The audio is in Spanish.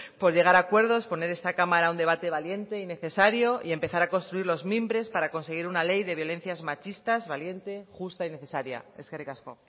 por llegar a acuerdos poner esta cámara un debate valiente y necesario y empezar a construir los mimbres para conseguir una ley de violencias machistas valiente justa y necesaria eskerrik asko